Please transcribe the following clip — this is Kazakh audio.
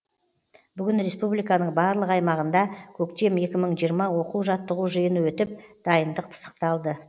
бүгін республиканың барлық аймағында көктем екі мың жиырма оқу жаттығу жиыны өтіп дайындық пысықталды